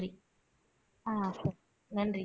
ஆஹ் சரி நன்றி